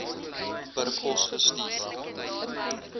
per pos gestuur